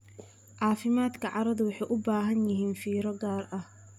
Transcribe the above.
Caafimaadka carradu wuxuu u baahan yahay fiiro gaar ah.